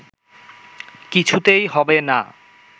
কিছুতেই হবে না